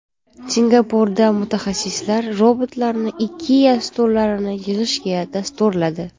Singapurda mutaxassislar robotlarni Ikea stullarini yig‘ishga dasturladi.